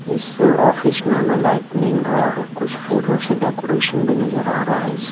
इस ऑफिस में हमें लाइटनिंग और कुछ फूलों से डेकोरेशन भी नजर आ रहा है इस--